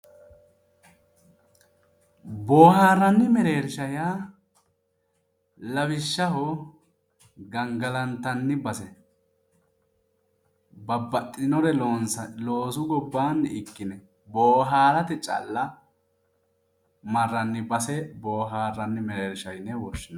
Booharani mereersha yaa lawishshaho gangalattani base ,babbaxitinore loonsanni loosu gobbanni ikkinore booharate calla marrani base booharanni mereersha yinne woshshinanni